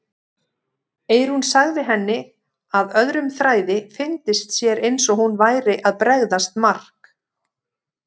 Eyrún sagði henni að öðrum þræði fyndist sér eins og hún væri að bregðast Mark.